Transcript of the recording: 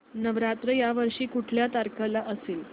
नवरात्र या वर्षी कुठल्या तारखेला असेल